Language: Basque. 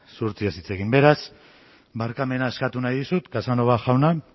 zuhurtziaz hitz egin beraz barkamena eskatu nahi dizut casanova jauna